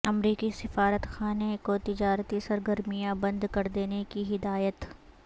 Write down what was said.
امریکی سفارتخانہ کو تجارتی سرگرمیاں بند کر دینے کی ہدایت